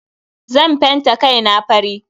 Zan fenta kai na fari.